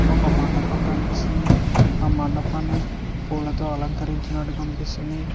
ఒక మండపం కనిపిస్తుంది ఆ మండపాన్ని పూలతో అలంకరించినట్టు కనిపిస్తుంది.